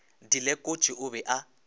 di lekotše o be a